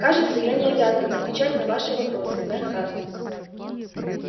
кажется я не обязан отвечать на ваши вопросы мэр хардин